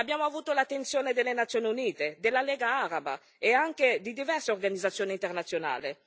Abbiamo avuto l'attenzione delle Nazioni Unite, della Lega Araba e anche di diverse organizzazioni internazionali.